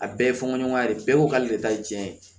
A bɛɛ ye fɔɲɔgɔnka de ye bɛɛ ko k'ale de ta ye diɲɛ ye